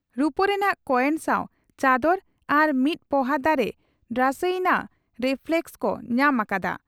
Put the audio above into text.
ᱨᱩᱯᱟᱹ ᱨᱮᱱᱟᱜ ᱠᱚᱭᱮᱱ ᱥᱟᱣ ᱪᱟᱫᱚᱨ ᱟᱨ ᱢᱤᱫ ᱯᱚᱦᱟ ᱫᱟᱨᱮ ᱰᱨᱟᱥᱮᱭᱱᱟ ᱨᱮᱯᱷᱞᱮᱠᱥ) ᱠᱚ ᱧᱟᱢ ᱟᱠᱟᱫᱼᱟ ᱾